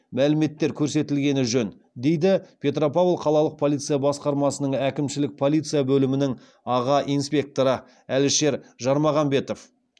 мәліметтер көрсетілгені жөн дейді петропавл қалалық полиция басқармасының әкімшілік полиция бөлімінің аға инспекторы әлішер жармағанбетов